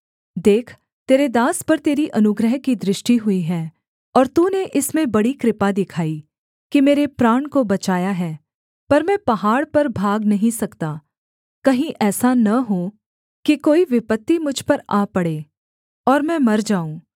देख तेरे दास पर तेरी अनुग्रह की दृष्टि हुई है और तूने इसमें बड़ी कृपा दिखाई कि मेरे प्राण को बचाया है पर मैं पहाड़ पर भाग नहीं सकता कहीं ऐसा न हो कि कोई विपत्ति मुझ पर आ पड़े और मैं मर जाऊँ